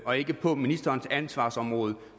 og ikke på ministerens ansvarsområde